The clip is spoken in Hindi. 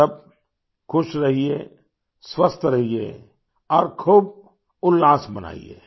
आप सब खुश रहिए स्वस्थ रहिए और खूब उल्लास मनाइए